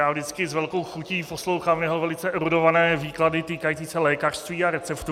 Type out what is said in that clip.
Já vždycky s velkou chutí poslouchám jeho velice erudované výklady týkající se lékařství a receptů.